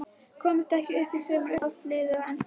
Komast ekki upp í sumar Uppáhalds lið í enska boltanum?